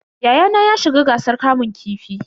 Yayana ya shiga gasar kamun kifi.